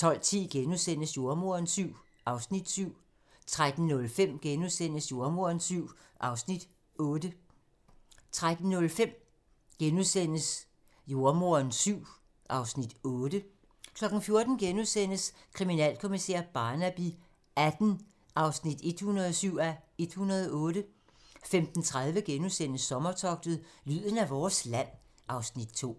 12:10: Jordemoderen VII (Afs. 7)* 13:05: Jordemoderen VII (Afs. 8)* 14:00: Kriminalkommissær Barnaby XVIII (107:108)* 15:30: Sommertogtet – lyden af vores land (Afs. 2)*